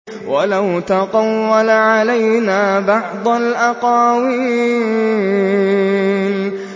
وَلَوْ تَقَوَّلَ عَلَيْنَا بَعْضَ الْأَقَاوِيلِ